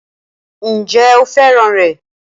Ǹjẹ́ o fẹ́ràn rẹ̀?